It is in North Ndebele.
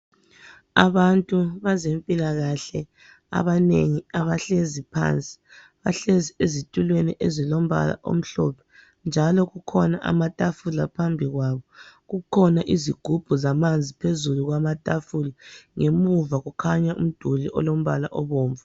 Abantu bezempilakahle abanengi abahlezi phan bahbahlezi ezitulweni ezilombala omhlophe njalo kukhona amatafula phambi kwabo kukhona izigubhu zamanzi phezulu kwamatafula, ngemuva kukhanya umduli olombala obomvu.